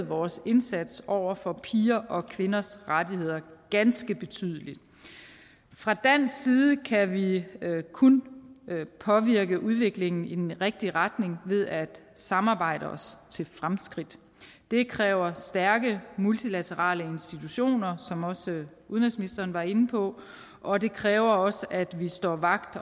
vores indsats over for piger og kvinders rettigheder ganske betydeligt fra dansk side kan vi kun påvirke udviklingen i den rigtige retning ved at samarbejde os til fremskridt det kræver stærke multilaterale institutioner som også udenrigsministeren var inde på og det kræver også at vi står vagt